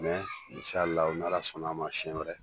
Mɛ insalaahu n'ala sɔnn'a ma sɛn wɛrɛ.